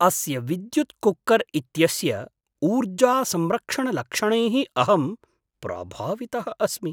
अस्य विद्युत् कुक्कर् इत्यस्य ऊर्जासंरक्षणलक्षणैः अहं प्रभावितः अस्मि!